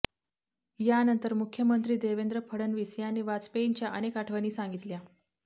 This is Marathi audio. यानंतर मुख्यमंत्री देवेंद्र फडणवीस यांनी वाजपेयींच्या अनेक आठवणी सांगितल्या